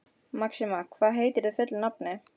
Maxima, hvað heitir þú fullu nafni?